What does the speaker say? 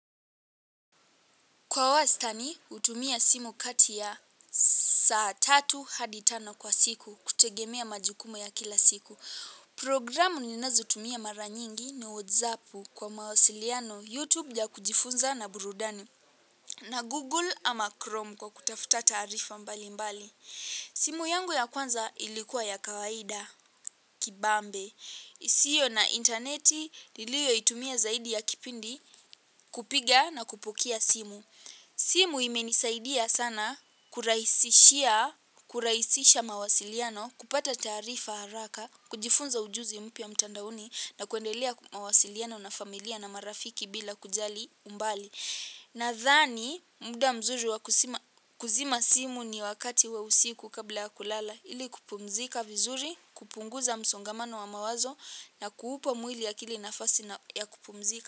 Kwa wastani hutumia simu kati ya saa tatu hadi tano kwa siku kutegemea majukumu ya kila siku. Programu ninazotumia mara nyingi ni whatsappu kwa mawasiliano YouTube ya kujifunza na burudani. Na Google ama Chrome kwa kutafuta taarifa mbali mbali. Simu yangu ya kwanza ilikuwa ya kawaida, kibambe. Isiyo na interneti iliyoitumia zaidi ya kipindi kupiga na kupokea simu. Simu imenisaidia sana kurahisisha mawasiliano, kupata taarifa haraka, kujifunza ujuzi mpya mtandaoni na kuendelea mawasiliano na familia na marafiki bila kujali umbali. Nadhani muda mzuri wa kuzima simu ni wakati wa usiku kabla ya kulala ili kupumzika vizuri, kupunguza msongamano wa mawazo na kuupa mwili akili nafasi ya kupumzika.